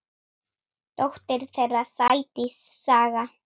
Dóttir þeirra: Sædís Saga.